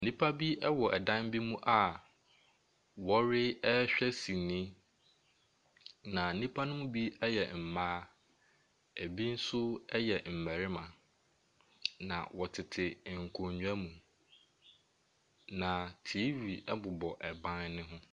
Nnipa bi ɛwɔ dan bi mu a wɔrehwɛ sinii. Nnipa no bi yɛ mmaa, ɛbi nso yɛ mmarima. Na wɔtete nkonnwa mu. Na TV bobɔ ban ne ho.